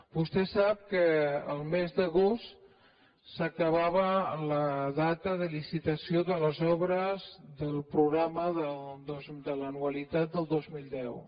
vostè sap que el mes d’agost s’acabava la data de licitació de les obres del programa de l’anualitat del dos mil deu